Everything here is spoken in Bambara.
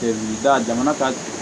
jamana ka